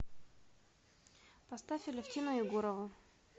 поставь алевтину егорову